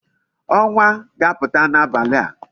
Onwa ga-aputa n'abali a